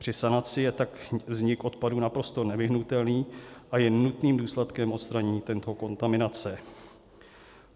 Při sanaci je tak vznik odpadu naprosto nevyhnutelný a je nutným důsledkem odstranění této kontaminace.